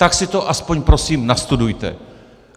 Tak si to aspoň prosím nastudujte!